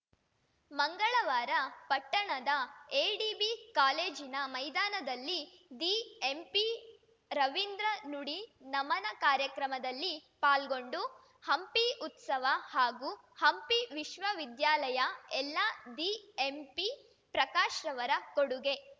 ಮಂಗಳವಾರ ಪಟ್ಟಣದ ಎಡಿಬಿ ಕಾಲೇಜಿನ ಮೈದಾನದಲ್ಲಿ ದಿಎಂಪಿರವಿಂದ್ರ ನುಡಿ ನಮನ ಕಾರ್ಯಕ್ರಮದಲ್ಲಿ ಪಾಲ್ಗೊಂಡು ಹಂಪಿ ಉತ್ಸವ ಹಾಗೂ ಹಂಪಿ ವಿಶ್ವ ವಿದ್ಯಾಲಯ ಎಲ್ಲಾ ದಿಎಂಪಿಪ್ರಕಾಶ್‌ರವರ ಕೊಡುಗೆ